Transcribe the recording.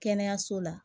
Kɛnɛyaso la